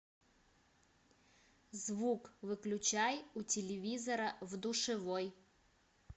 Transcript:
звук выключай у телевизора в душевой